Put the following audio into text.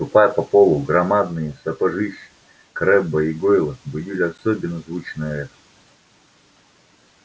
ступая по полу громадные сапожищи крэбба и гойла будили особенно звучное эхо